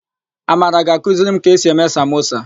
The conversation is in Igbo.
Amara ga-akụziri m ka esi eme samosa.